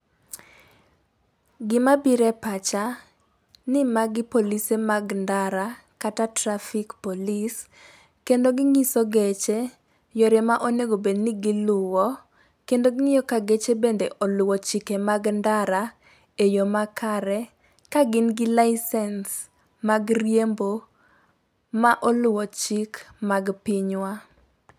Gima bire pacha ni magi polise mag ndara kata traffic police kendo ginyiso geche yore ma onego bed ni giluwo kendo ging'iyo ka geche bende oluwo chike mag ndara e yoo makare, ka gin gi licence mag riembo ma oluwo chik mag pinywa.